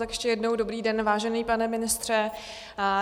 Tak ještě jednou, dobrý den, vážený pane ministře.